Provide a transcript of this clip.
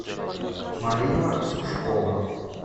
марина сушкова